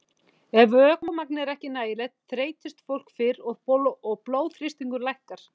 Ef vökvamagn er ekki nægilegt þreytist fólk fyrr og blóðþrýstingur lækkar.